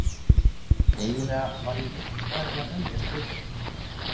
Eiginlega var ég rétt farin að venjast Reykjavík